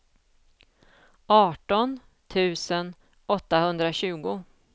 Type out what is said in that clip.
arton tusen åttahundratjugo